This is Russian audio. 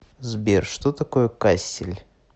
сбер что такое кассель